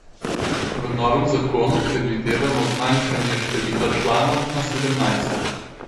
V novem zakonu predvidevamo zmanjšanje števila članov na sedemnajst.